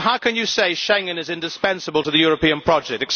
So how can you say Schengen is indispensable to the European project?